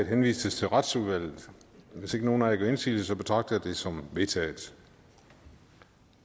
henvises til retsudvalget hvis ikke nogen af jer gør indsigelse betragter jeg det som vedtaget